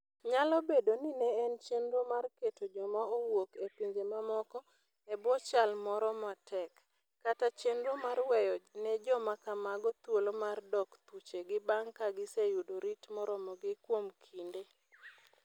Nyalo bedo ni ne en chenro mar keto joma owuok e pinje mamoko e bwo chal moro matek, kata chenro mar weyo ne joma kamago thuolo mar dok thuchegi bang ' ka giseyudo rit moromogi kuom kinde.